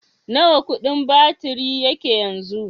Nawa kudin batiri yake yanzu?